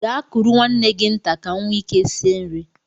Gaa kuru nwanne gị nta ka m nwee ike sie nri!